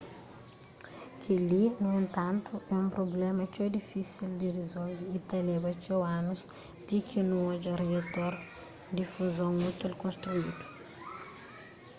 kel-li nu entantu é un prubléma txeu difísil di rizolve y ta leba txeu anus ti ki nu odja riator di fuzon útil konstrídu